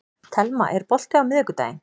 Telma, er bolti á miðvikudaginn?